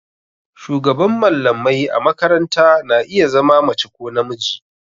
Shugaban mallamai a makaranta na iya zama mace ko namiji.